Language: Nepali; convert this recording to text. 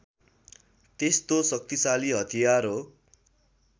त्यस्तो शक्तिशाली हतियार हो